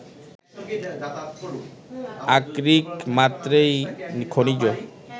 আকরিক মাত্রেই খনিজ